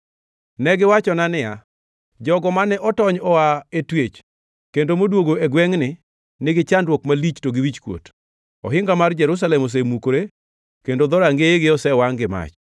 Ne giwachona niya, “Jogo mane otony oa e twech kendo modwogo e gwengʼni nigi chandruok malich to gi wichkuot. Ohinga mar Jerusalem osemukore kendo dhorangeyege osewangʼ gi mach.”